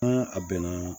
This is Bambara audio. N'a a bɛnna